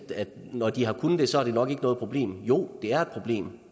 at når de har kunnet spare det er det nok ikke noget problem jo det er et problem